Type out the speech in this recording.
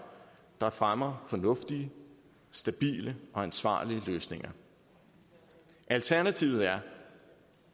der fremmer fornuftige stabile og ansvarlige løsninger alternativet er